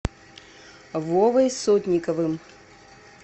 вовой сотниковым